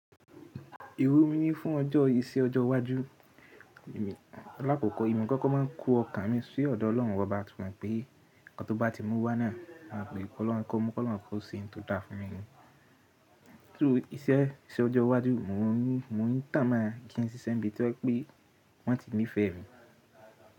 Iru mi ni fún ọjọ́, iṣẹ́ ọjọ́ iwájú, lákọ̀kọ́, èmi kọ́kọ́ máa ń kó ọkàn mi sí ọ̀dọ̀ Ọlọ́run oba ti mọ̀ pé nkan tó bá ti mú wá na, a ma pe Ọlọ́run kọ́, mu kọ́ Ọlọ́run ko ṣe ohun tó dá fún mi ni. Through iṣẹ́, iṣẹ́ ọjọ iwájú, mo ń rí, mo ń tàmá kí n si sẹ́mi tọ́ pe wọ́n ti ńi fẹ́ mi.